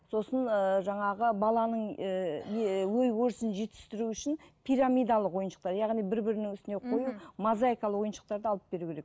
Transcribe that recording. сосын ыыы жаңағы баланың ііі не ой өрісін жетістіру үшін пирамидалық ойыншықтар яғни бір бірінің үстіне қою мозайкалы ойыншықтарды алып беру керек